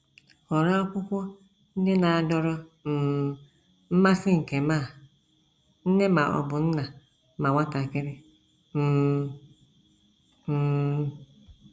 Họrọ akwụkwọ ndị na - adọrọ um mmasị nke ma nne ma ọ bụ nna ma nwatakịrị um. um